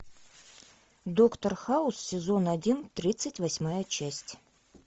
доктор хаус сезон один тридцать восьмая часть